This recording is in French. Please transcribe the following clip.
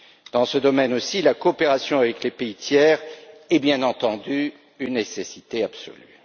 Dans ce domaine aussi, la coopération avec les pays tiers est bien entendu une nécessité absolue.